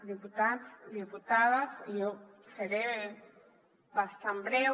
diputats diputades jo seré bastant breu